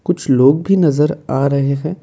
कुछ लोग भी नजर आ रहे हैं।